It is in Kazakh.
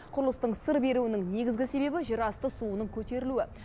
құрылыстың сыр беруінің негізгі себебі жерасты суының көтерілуі